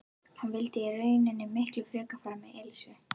Hann vildi í rauninni miklu frekar fara með Elísu.